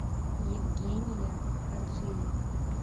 евгения хаджиева